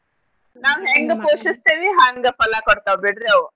ನಾವ್ ಹೆಂಗ್ ಪೋಷಿಸ್ತೀವಿ ಹಂಗ್ ಫಲಾ ಕೊಡ್ತಾವ್ ಬಿಡ್ರಿ ಅವು.